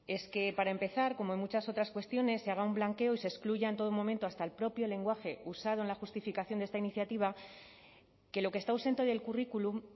es que para empezar como en muchas otras cuestiones se haga un blanqueo y se excluya en todo momento hasta el propio lenguaje usado en la justificación de esta iniciativa que lo que está ausente del currículum